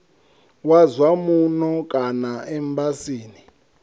wa zwa muno kana embasini